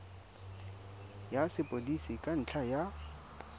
ya sepodisi ka ntlha ya